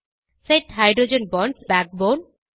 set hydrogen bonds backbone